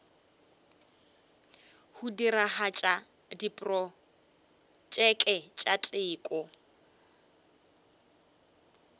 go diragatša diprotšeke tša teko